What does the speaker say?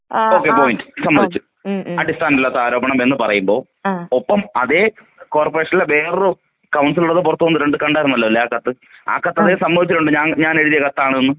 Okay point സമ്മതിച്ചു.അടിസ്ഥാനം ഇല്ലാത്ത ആരോപണം എന്ന് പറയുമ്പോ ഒപ്പം അതേ കോർപ്പറേഷനിലെ വേറൊരു കൗൺസിലർ ഉള്ളത് പുറത്ത് വന്നിട്ടുണ്ട് കണ്ടാരുന്നല്ലോ ആ കത്ത് ആ കത്ത് അവര് സമ്മതിച്ചിട്ടുണ്ട് ആ കത്ത് ഞാനെഴുതിയ കത്താണെന്നും.